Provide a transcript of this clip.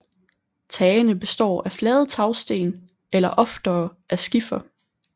Tagene består af flade tagsten eller oftere af skifer